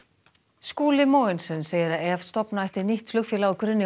Skúli Mogensen segir að ef stofna ætti nýtt flugfélag á grunni